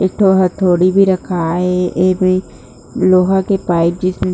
एक ठो हथौड़ी भी रखाए हे एमे पाइप जइसे--